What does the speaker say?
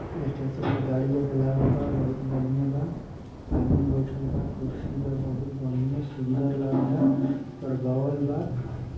Station प गाड़ी आके लागल बा। बहुत बढ़िया बा। आदमी बइठल बा। कुर्सी बा बहुत बढ़िया सुंदर लागता। ]